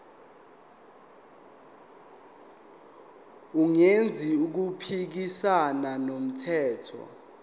engenzi okuphikisana nomthetho